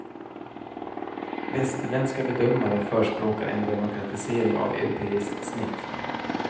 Västerländska bedömare förespråkar en demokratisering av europeiskt snitt.